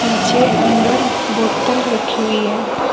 पीछे अंदर बोतल रखी हुई है।